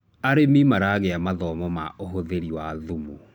arĩmi maragia mathomo ma uhuthiri wa thumu